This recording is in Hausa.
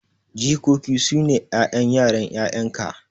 Jikoki sune 'ƴan yaran 'ƴa'yanka.